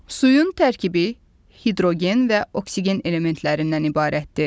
Suyun tərkibi hidrogen və oksigen elementlərindən ibarətdir.